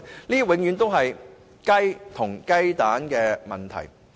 這永遠是"雞與雞蛋"的問題。